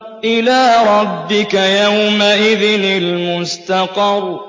إِلَىٰ رَبِّكَ يَوْمَئِذٍ الْمُسْتَقَرُّ